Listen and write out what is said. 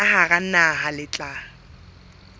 ka hara naha le tla